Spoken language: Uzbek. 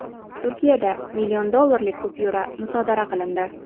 Turkiyada million dollarlik kupyura musodara qilindi.